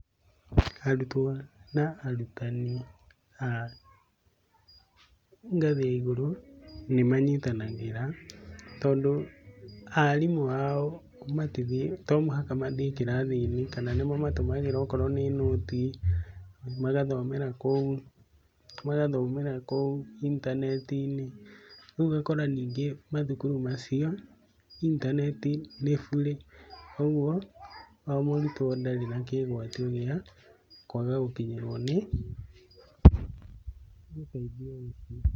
Arutwo na arutani a ngathi ya igũrũ nĩ manyitanagĩra tondũ arimũ ao to mũhaka mathiĩ kĩrathi-inĩ kana nĩmamatũmagĩra okorwo nĩ noti magathomera kũo magathomera kũo intaneti-inĩ rĩu nyingĩ ũgakora mathukuru macio intaneti nĩ bure koguo o mũrutwo ndarĩ na kĩĩgwatio gĩa kwaga gũkinyĩrwo nĩ ũteithio ũcio.